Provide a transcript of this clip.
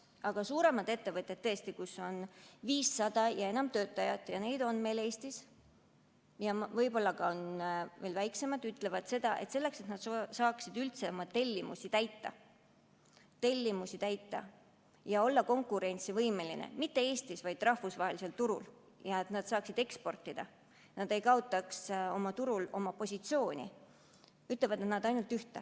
Aga suuremad ettevõtted, kus on 500 ja enam töötajat – neid on meil Eestis –, ja võib-olla ka väiksemad ütlevad seda, et selleks, et nad saaksid üldse oma tellimusi täita ja olla konkurentsivõimelised mitte Eestis, vaid rahvusvahelisel turul, et nad saaksid eksportida, et nad ei kaotaks turul oma positsiooni, on vaja ainult ühte.